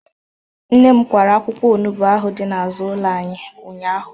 Nne m kwara akwụkwọ onugbu ahụ dị n'azụ ụlọ anyị ụnyahụ